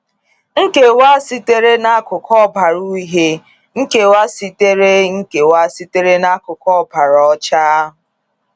Nkewa sitere n’akụkụ ọbara uhie, Nkewa sitere Nkewa sitere n’akụkụ ọbara ọcha.